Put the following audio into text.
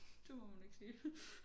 Det må man ikke sige